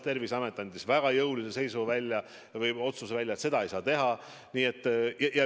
Terviseamet andis väga jõulise otsuse välja, et seda ei saa teha.